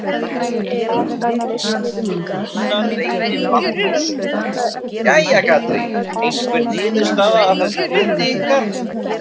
Gunnar Reynir Valþórsson: Jæja, Katrín, einhver niðurstaða af þessum fundi ykkar?